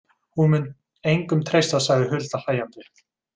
Hún mun engum treysta, sagði Hulda hlæjandi.